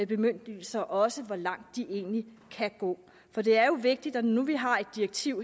bemyndigelser også på hvor langt de egentlig kan gå for det er jo vigtigt når nu vi har et direktiv